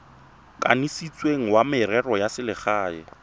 kanisitsweng wa merero ya selegae